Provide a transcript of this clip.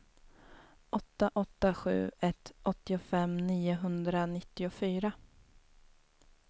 åtta åtta sju ett åttiofem niohundranittiofyra